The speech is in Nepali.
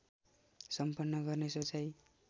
सम्पन्न गर्ने सोचाइ